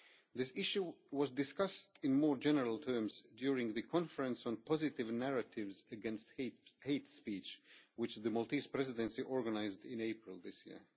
This issue was discussed in more general terms during the conference on positive narratives against hate speech, which the Maltese Presidency organised in April this year.